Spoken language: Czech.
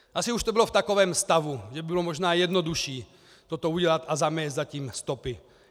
Asi už to bylo v takovém stavu, že by bylo možná jednodušší toto udělat a zamést za tím stopy.